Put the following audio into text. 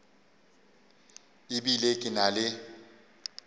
e bile ke na le